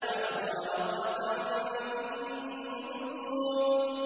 فَنَظَرَ نَظْرَةً فِي النُّجُومِ